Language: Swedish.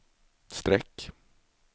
streck